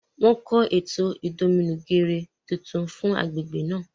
Wọn n kọ eto idominugere tuntun fún agbègbè náà